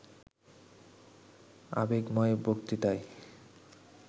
আবেগময় বক্তৃতায়